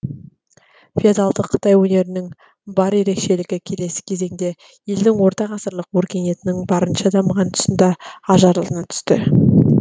феодалдық қытай өнерінің бар ерекшелігі келесі кезеңде елдің ортағасырлық өркениетінің барынша дамыған тұсында ажарлана түсті